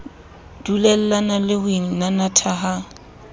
dulellane le ho inanatha ha